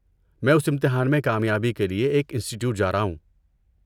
میں اس امتحان میں کامیابی کے لیے ایک انسٹی ٹیوٹ جا رہا ہوں۔